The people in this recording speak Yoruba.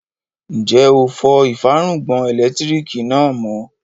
Ǹjẹ́ ó fọ ìfárùngbọ̀n ẹlẹ́lẹtiriki náà mọ?